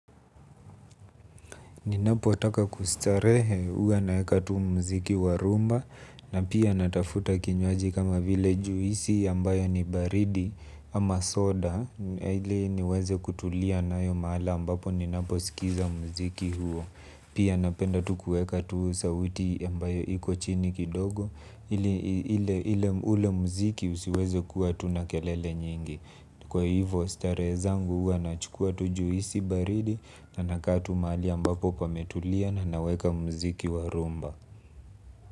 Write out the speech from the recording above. Ninapotaka kustarehe hua naeka tu mziki wa rumba na pia natafuta kinywaji kama vile juisi ambayo ni baridi ama soda. Ili niweze kutulia nayo mahali ambapo ninaposikiza mziki huo. Pia napenda tu kuweka tu sauti ambayo iko chini kidogo ili ule mziki usiweze kuwa tuna kelele nyingi. Kwa hivyo starehe zangu hua nachukua tu juisi baridi na nakaa tu mahali ambapo pametulia na naweka muziki wa rumba.